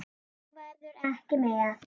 Þú verður ekki með.